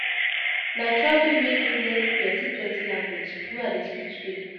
Na traveling make me learn plenty-plenty language wey I dey speak today.